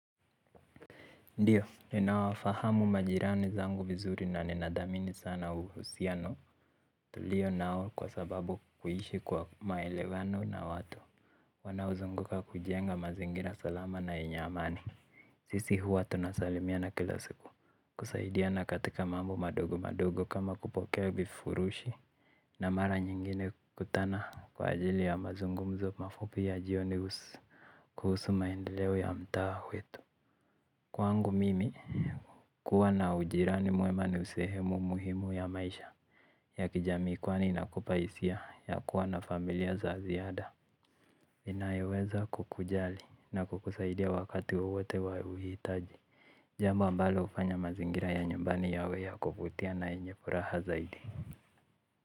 Ndiyo, ninawafahamu majirani zangu vizuri na ninathamini sana uhusiano. Tulionao kwa sababu kuishi kwa maelewano na watu. Wanaozunguka kujenga mazingira salama na yenye amani. Sisi huwa tunasalimiana kila siku. Kusaidiana katika mambo madogo madogo kama kupokea vifurushi. Na mara nyingine kukutana kwa ajili ya mazungumzo mafupi ya jioni, kuhusu maendeleo ya mtaa wetu. Kwangu mimi, kuwa na ujirani mwema ni sehemu muhimu ya maisha ya kijamii, kwani inakupa hisia ya kuwa na familia za ziada. Inayoweza kukujali na kukusaidia wakati wowote wa uhitaji. Jambo ambalo hufanya mazingira ya nyumbani yawe ya kuvutia na yenye furaha zaidi.